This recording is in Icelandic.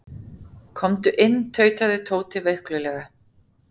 Komdu inn tautaði Tóti veiklulega.